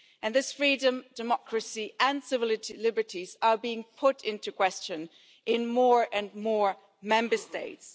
That freedom, democracy and civil liberties are being called into question in more and more Member States.